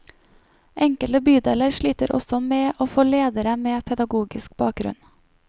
Enkelte bydeler sliter også med å få ledere med pedagogisk bakgrunn.